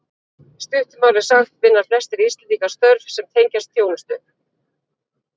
Í stuttu máli sagt vinna flestir Íslendingar störf sem tengjast þjónustu.